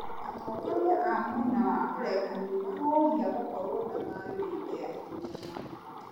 Atongoria a mwena wa ũregani maroria gũkorwo na thayũ hĩndĩ ya ithurano